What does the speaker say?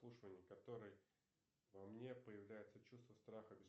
который во мне появляется чувство страха